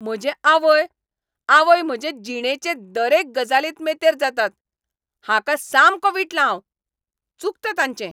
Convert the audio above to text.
म्हजे आवय, आवय म्हजे जिणेचे दरेक गजालींत मेतेर जातात, हाका सामको वीटला हांव. चुकता तांचें.